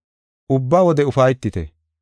Ubba wode ufaytite.